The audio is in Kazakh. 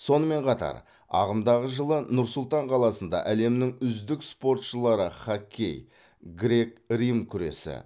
сонымен қатар ағымдағы жылы нұр сұлтан қаласында әлемнің үздік спортшылары хоккей грек рим күресі